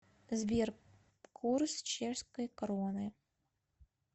сбер курс чешской кроны